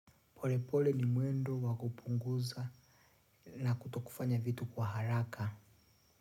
Polepole ni mwendo wa kupunguza na kutokufanya vitu kwa haraka.